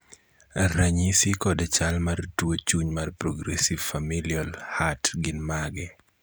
ranyisi kod chal mar tuo chuny mar progressive familial heart gin mage?